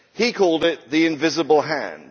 He called it the invisible hand'.